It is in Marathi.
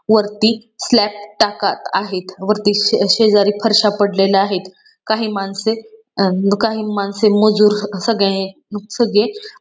वरती स्लॅब टाकत आहेत वरती शेजारी फरश्या पडलेल्या आहेत काही माणसे अ काही माणसे मजुर मजूर सगळे --